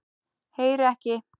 Heyri ekki.